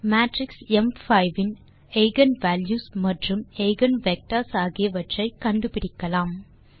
matrix ம்5 இன் eigen values மற்றும் எய்கென் வெக்டர்ஸ் ஆகியவற்றை கண்டுபிடிக்கலாம்